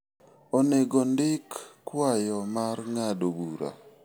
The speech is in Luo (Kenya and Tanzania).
Onego ondik kwayo mar ng'ado bura.